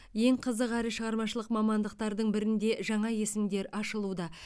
ең қызық әрі шығармашылық мамандықтардың бірінде жаңа есімдер ашылуда